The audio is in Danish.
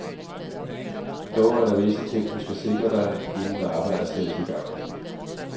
Dog er der visse ting du skal sikre dig, inden arbejdet sættes i gang.